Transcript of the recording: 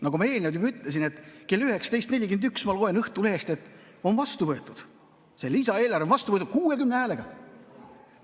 Nagu ma eelnevalt ütlesin, kell 19.41 lugesin Õhtulehest, et see lisaeelarve on vastu võetud 60 häälega.